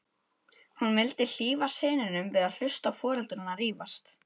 Hún vildi hlífa syninum við að hlusta á foreldrana rífast.